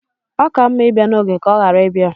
ọ ka mma ibia n'oge ka ọ ghara ibia